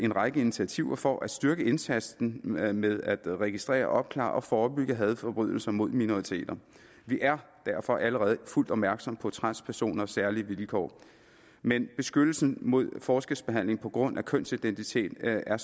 række initiativer for at styrke indsatsen med at med at registrere opklare og forebygge hadforbrydelser mod minoriteter vi er derfor allerede fuldt opmærksomme på transpersoners særlige vilkår men beskyttelsen mod forskelsbehandling på grund af kønsidentitet er